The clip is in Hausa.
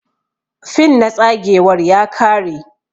fin na tsagewar ya kare.